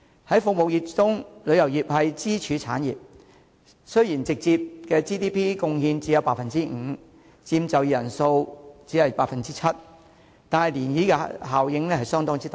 在服務業中，旅遊業是支柱產業，雖然直接的 GDP 貢獻只有 5%， 佔就業人口 7%， 但漣漪效應相當大。